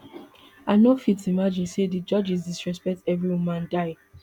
i no fit imagine say di judges disrespect every woman dia